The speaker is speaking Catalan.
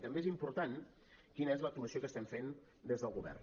i també és important quina és l’actuació que estem fent des del govern